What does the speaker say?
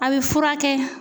A bɛ furakɛ